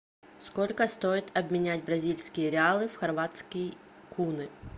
сколько стоит обменять бразильские реалы в хорватские куны